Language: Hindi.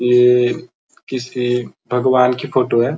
ये किसी भगवान की फोटो है।